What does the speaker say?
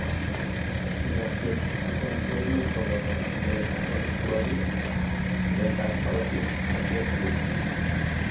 chikilosiek chuton koimuch koboto chikilet ab omitwogik, chikilet ab korotik ak x rays